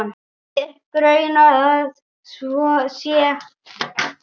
Mig grunar að svo sé.